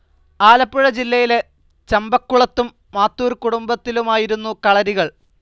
ആലപ്പുഴ ജില്ലയിലെ ചമ്പക്കുളത്തും മാത്തൂർ കുടുംബത്തിലുമായിരുന്നു കളരികൾ.